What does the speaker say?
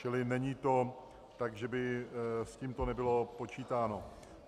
Čili není to tak, že by s tímto nebylo počítáno.